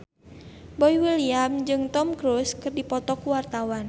Boy William jeung Tom Cruise keur dipoto ku wartawan